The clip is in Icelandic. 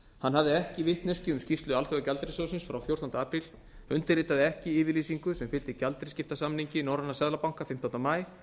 hann hafði ekki vitneskju um skýrslu alþjóðagjaldeyrissjóðsins frá fjórtánda apríl undirritaði ekki yfirlýsingu sem fylgdi gjaldeyrisskiptasamningi norrænna seðlabanka fimmtánda maí